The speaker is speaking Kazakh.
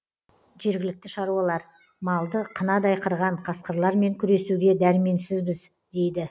жергілікті шаруалар малды қынадай қырған қасқырлармен күресуге дәрменсізбіз дейді